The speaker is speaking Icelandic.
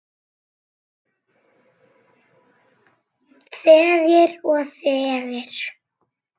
Þegir og þegir.